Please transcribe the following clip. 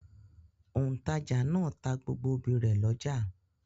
Òǹtajà náà ta gbogbo obì rẹ̀ lọ́jà.